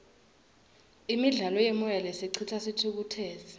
imidlalo yemoya lesicitsa sithukutseti